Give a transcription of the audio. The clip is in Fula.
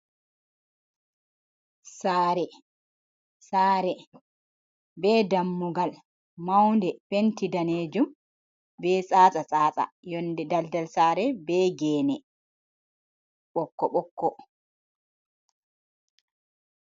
Sare, Sare be dammugal maunde penti danejum be tsata tsasta yonde daldal sare be gene ɓokko ɓokko.